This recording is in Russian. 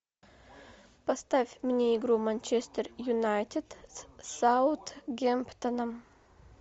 поставь мне игру манчестер юнайтед с саутгемптоном